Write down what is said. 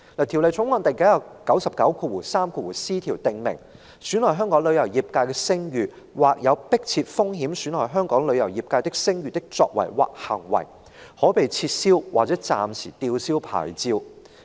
《條例草案》第 993c 條訂明，損害香港旅遊業界的聲譽，或有迫切風險損害香港旅遊業界的聲譽的作為或行為，可被撤銷或暫時吊銷牌照。